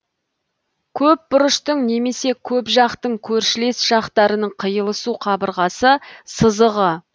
көпбұрыштың немесе көпжақтың көршілес жақтарының қиылысу қабырғасы сызығы